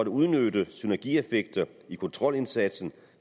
udnytte synergieffekterne af kontrolindsatsen